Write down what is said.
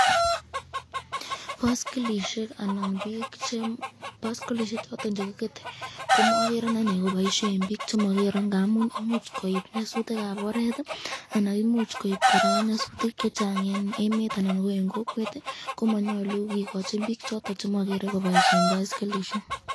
Boskilisyek choton chekikete komagere ane koboisye eng bik chemagere, ngamun imuch koib nyasutikab oret anan imuch koib nyasutik chechang eng emet anan ko eng kokwet , komanyalu kikochin bik choton chemagere koboisyen baskilisyek.